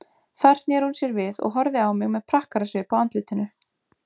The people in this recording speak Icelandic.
Þar sneri hún sér við og horfði á mig með prakkarasvip á andlitinu.